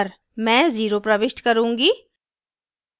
मैं 0 प्रविष्ट करुँगी